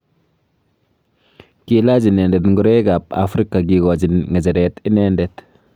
Kilach inendet ngoroik ab Afrika kikochin ngecheret inendet.